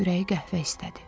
Ürəyi qəhvə istədi.